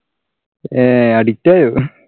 അഹ് addict ആയോ?